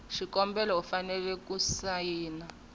xikombelo u fanele ku sayina